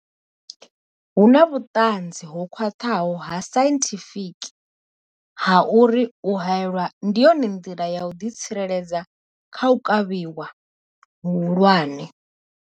Hu na vhuṱanzi ho khwaṱhaho ha sainthifiki ha uri u haelwa ndi yone nḓila ya u ḓitsireledza kha u kavhiwa hu hulwane.